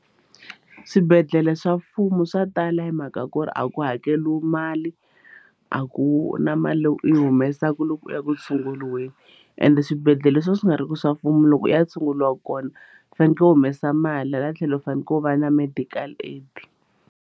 Swibedhlele swa mfumo swa tala hi mhaka ku ri a ku hakeriwa mali a ku na mali leyi u yi humesaku loko u ya ku tshunguriweni ende swibedhlele leswi va swi nga ri ki swa mfumo loko u ya tshunguriwa kona u fanekele u humesa mali hala tlhelo u faneleke u va na medical aid.